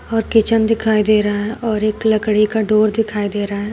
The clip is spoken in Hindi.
और किचन दिखाई दे रहा और एक लकड़ी का डोर दिखाई दे रहा है।